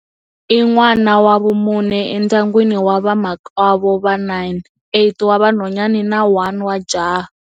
I n'wana wa vumune endyangwini wa vamakwavo va 9, 8 wa vanhwanyana na 1 wa jaha